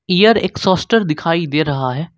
Air exhauster दिखाई दे रहा है।